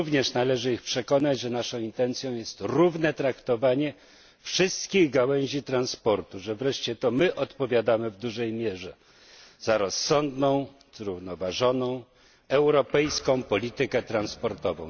Należy ich również przekonać, że naszą intencją jest równe traktowanie wszystkich gałęzi transportu, że wreszcie to my odpowiadamy w dużej mierze za rozsądną, zrównoważoną europejską politykę transportową.